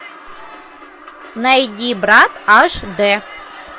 найди брат аш дэ